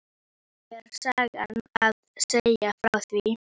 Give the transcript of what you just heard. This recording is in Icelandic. Við þögðum enn, litum hvort á annað.